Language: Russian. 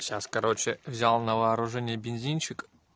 сейчас короче взял на вооружение бинзинчик